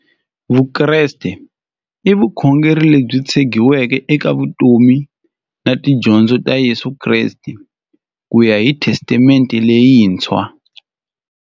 Vukreste i vukhongeri lebyi tshegiweke eka vutomi na tidyondzo ta Yesu Kreste kuya hi Testamente leyintshwa.